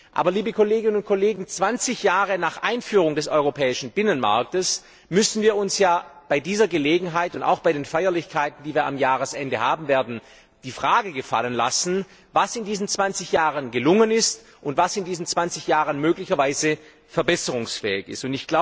Aber, liebe Kolleginnen und Kollegen, zwanzig Jahre nach Einführung des europäischen Binnenmarktes müssen wir uns bei dieser Gelegenheit und auch bei den Feierlichkeiten, die wir am Jahresende haben werden, die Frage gefallen lassen, was in diesen zwanzig Jahren gelungen und was möglicherweise verbesserungsfähig ist.